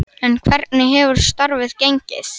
En hvernig hefur starfið gengið?